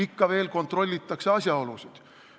Ikka veel kontrollitakse asjaolusid.